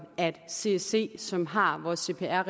at csc som har vores cpr